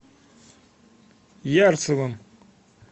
ярцевым